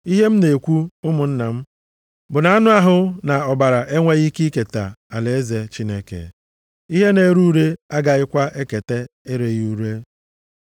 Ihe m na-ekwu, ụmụnna m, bụ na anụ ahụ na ọbara enweghị ike iketa alaeze Chineke. Ihe na-ere ure agaghịkwa eketa ereghị ure.